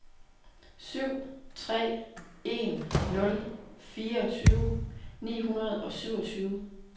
syv tre en nul fireogtyve ni hundrede og syvogtyve